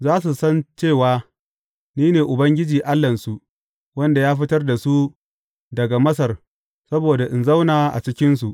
Za su san cewa ni ne Ubangiji Allahnsu, wanda ya fitar da su daga Masar saboda in zauna a cikinsu.